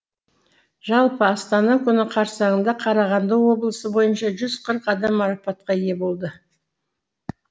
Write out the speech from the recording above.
жалпы астана күні қарсаңында қарағанды облысы бойынша жүз қырық адам марапатқа ие болды